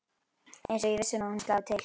Eins og viss um að hún slái til.